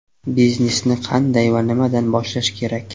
Biznesni qanday va nimadan boshlash kerak?